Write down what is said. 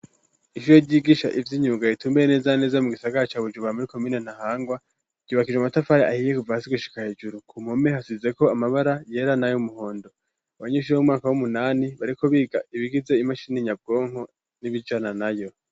Ishure ryigisha ivyimyunga ritumbereye neza neza mu gisagara ca Bujumbura muri komine Ntahangwa yubakishije amatafari ahiye kuva hasi gushika hejuru ku mpome hasizeko amabara yera nayu muhondo abanyeshuri bo mu mwaka w'umunani bariko biga ibigize imashini nyabwonko nibijana nayo.